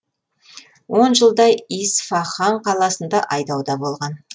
он жылдай исфахан қаласында айдауда болған